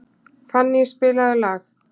Fanny, spilaðu lag.